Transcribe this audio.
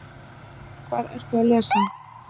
Hvað ertu að lesa?